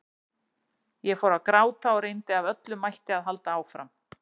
Ég fór að gráta og reyndi af öllum mætti að halda áfram.